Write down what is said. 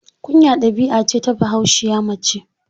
Kunya ɗabi'a ce ta Bahaushiya mace.